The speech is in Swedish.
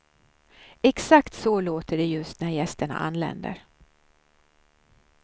Exakt så låter det just när gästerna anländer.